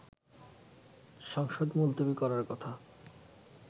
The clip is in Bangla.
সংসদ মুলতবি করার কথা